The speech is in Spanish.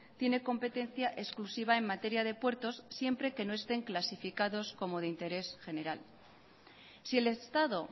tiene competencia exclusiva en materia de puertos siempre que no estén clasificados como de interés general si el estado